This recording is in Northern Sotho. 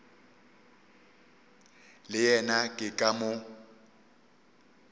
le yena ke ka moo